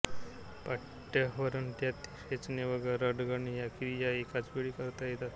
पाट्यावरवंट्यात ठेचणे व रगडणे या क्रिया एकाचवेळी करता येतात